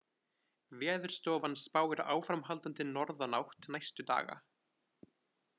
Veðurstofan spáir áframhaldandi norðanátt næstu daga